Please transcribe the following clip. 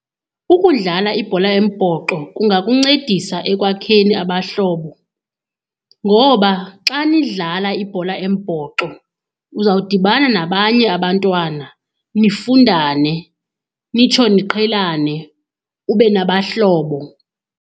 Ukudlala ibhola embhoxo kungakuncedisa ekwakheni abahlobo ngoba xa nidlala ibhola embhoxo, uzawudibana nabanye abantwana nifundane nitsho niqhelane, ube nabahlobo.